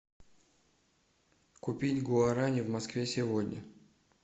купить гуарани в москве сегодня